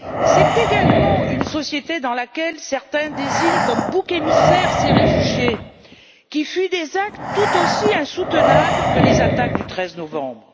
C'est également une société dans laquelle certains désignent comme boucs émissaires ces réfugiés qui fuient des actes tout aussi insoutenables que les attaques du 13 novembre.